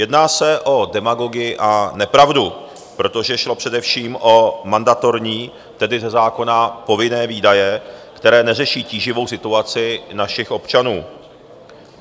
Jedná se o demagogii a nepravdu, protože šlo především o mandatorní, tedy ze zákona povinné výdaje, které neřeší tíživou situaci našich občanů.